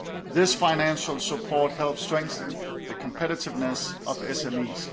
This financial support helps strengthen the competitiveness of SMEs.